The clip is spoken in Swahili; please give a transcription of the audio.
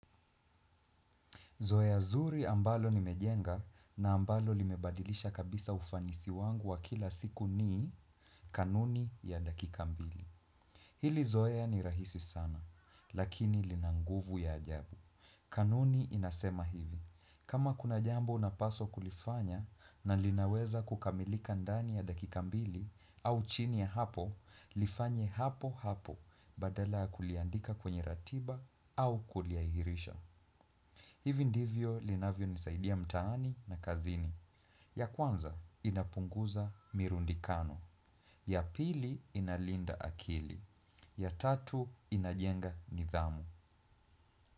Zoya zuri ambalo nimejenga na ambalo limebadilisha kabisa ufanisi wangu wa kila siku nii kanuni ya dakika mbili. Hili zoya ni rahisi sana, lakini lina nguvu ya ajabu. Kanuni inasema hivi. Kama kuna jambo napaswa kulifanya na linaweza kukamilika ndani ya dakika mbili au chini ya hapo, lifanye hapo hapo badala ya kuliandika kwenye ratiba au kulihairisha. Hivi ndivyo linavyonisaidia mtaani na kazini. Ya kwanza inapunguza mirundikano. Ya pili inalinda akili. Ya tatu inajenga nidhamu.